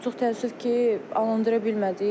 Amma çox təəssüf ki, alandıra bilmədik.